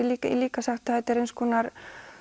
líka líka sagt að þetta er eins konar